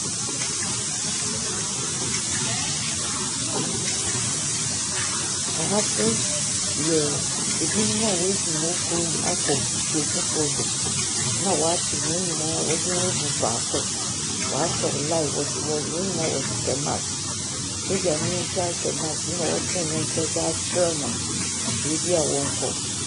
Ahasu yɛ ebinom a wafiri wɔ krom akɔ krom foforɔ du na waakyi wom nyinaa wɔ de wagu fa korɔ wa sa wɔn line wɔnyinaa wɔ shishɛ mask sojanii koraa shɛ mask ɛna watene ne nsa di atwerɛ wɔn bebia wɔnkɔ.